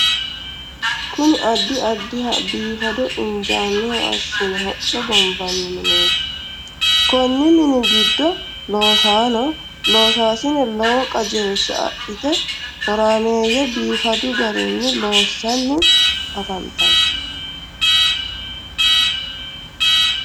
kuni addi addiha biifado injinoha assine hocco gombanni mineeti. konni mini giddo loosanno loosasine lowo qajeelisha adhite horaameyyete biifadu garinni loosanni afantanno.